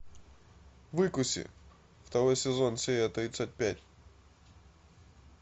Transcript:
выкуси второй сезон серия тридцать пять